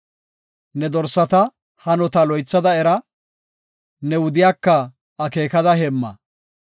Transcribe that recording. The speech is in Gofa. Ne dorsata hanota loythada era; ne wudiyaka akeekada heemma.